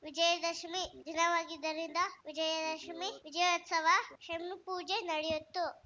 ವಿಜಯದಶಮಿ ದಿನವಾಗಿದ್ದರಿಂದ ವಿಜಯದಶಮಿ ವಿಜಯೋತ್ಸವ ಶಮಿಪೂಜೆ ನಡೆಯಿತು